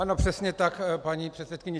Ano, přesně tak, paní předsedkyně.